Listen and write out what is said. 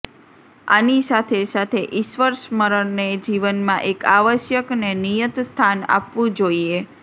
આની સાથે સાથે ઈશ્વરસ્મરણને જીવનમાં એક આવશ્યક ને નિયત સ્થાન આપવું જોઈએ